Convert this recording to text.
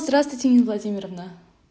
здравствуйте нина владимировна